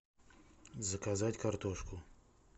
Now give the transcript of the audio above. заказать картошку